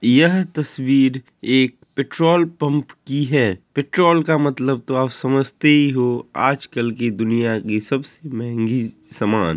यह तस्वीर एक पेट्रोल पम्प की है पेट्रोल का मतलब तो आप समझते ही हो आजकल की दुनिया की सब से मेहरी स-समान--